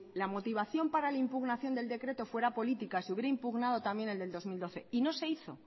la motivación para la impugnación del decreto fuera políticas se hubiera impugnado también el del dos mil doce y no se hizo